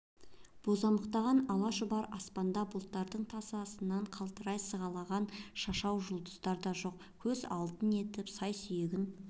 бозамықтанған ала-шұбар аспан да бұталардың тасасынан қалтырай сығалаған шашау жұлдыздар да жоқ көз алдын етіп сай-сүйегін